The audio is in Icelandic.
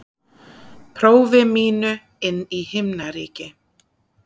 prófi mínu inn í himnaríki.